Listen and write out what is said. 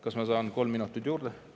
Kas ma saan kolm minutit juurde?